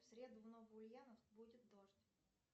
в среду в новоульяновск будет дождь